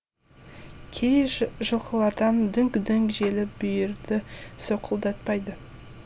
кей жылқылардай дүңк дүңк желіп бүйірді солқылдатпайды